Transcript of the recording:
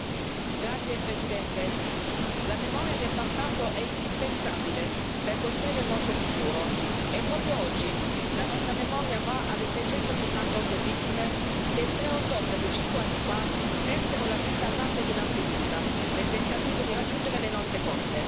Signor Presidente, onorevoli colleghi, la memoria del passato è indispensabile per costruire il nostro futuro e, proprio oggi, la nostra memoria va alle 368 vittime che il 3 ottobre di cinque anni fa persero la vita al largo di Lampedusa nel tentativo di raggiungere le nostre coste.